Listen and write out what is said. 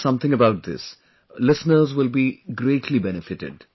Tell us something about this; listeners will be greatly benefitted